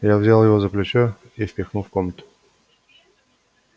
я взял его за плечо и впихнул в комнату